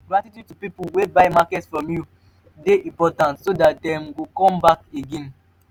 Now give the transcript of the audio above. gratitude to pipo wey buy market from you de important so that dem go come back again